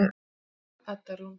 Þín Edda Rún.